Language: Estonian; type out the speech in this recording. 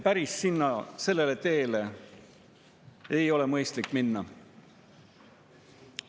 Päris sellele teele ei ole mõistlik minna.